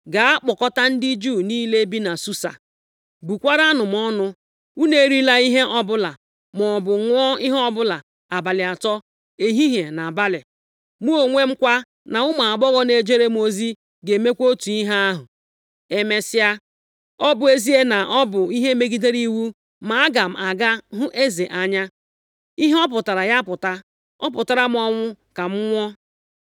“Gaa kpọkọtaa ndị Juu niile bi na Susa, bukwaaranụ m ọnụ. Unu erila ihe ọbụla, maọbụ ṅụọ ihe ọbụla abalị atọ, ehihie na abalị. Mụ onwe m kwa, na ụmụ agbọghọ na-ejere m ozi, ga-emekwa otu ihe ahụ. Emesịa, ọ bụ ezie na ọ bụ ihe megidere iwu, ma aga m aga hụ eze anya. Ihe ọ pụtara ya pụta. Ọ pụtara m ọnwụ, ka m nwụọ!”